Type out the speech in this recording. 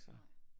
Nej